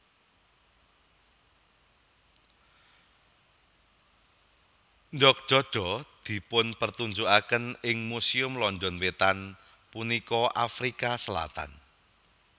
Ndok dodo dipunpertunjukaken ing Museum London Wetan punika Afrika Selatan